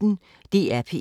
DR P1